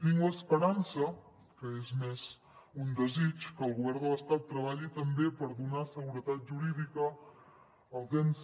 tinc l’esperança que és més que un desig que el govern de l’estat treballi també per donar seguretat jurídica als ens